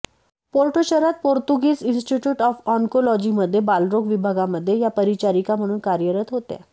Porto शहरात Portuguese institute of ऑन्कोलॉजीमध्ये बालरोग विभागामध्ये त्या परिचारिका म्हणून कार्यरत होत्या